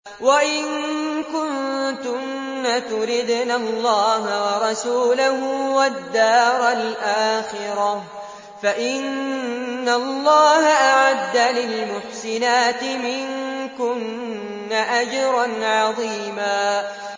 وَإِن كُنتُنَّ تُرِدْنَ اللَّهَ وَرَسُولَهُ وَالدَّارَ الْآخِرَةَ فَإِنَّ اللَّهَ أَعَدَّ لِلْمُحْسِنَاتِ مِنكُنَّ أَجْرًا عَظِيمًا